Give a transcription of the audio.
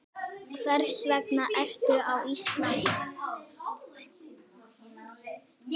Hvers vegna ertu á Íslandi?